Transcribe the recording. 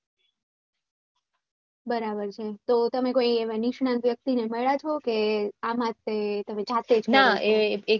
બરાબર છે તમે કોઈ એવા નિષ્ણાત વ્યક્તિ ને મળ્યા છે કે આમ જ તે તમે જાતે જ કર્યું છે